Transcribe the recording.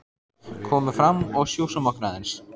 Komum fram og sjússum okkur aðeins.